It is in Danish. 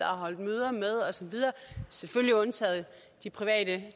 har holdt møder med og så videre selvfølgelig undtaget de private